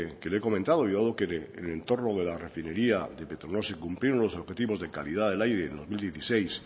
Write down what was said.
que le he comentado y dado que en el entorno de la refinería de petronor se cumplieron los objetivos de calidad del aire dos mil dieciséis